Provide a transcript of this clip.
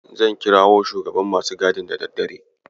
Zan kirawo shugaban masu gadin da daddare.